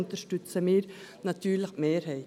Daher unterstützen wir natürlich die Mehrheit.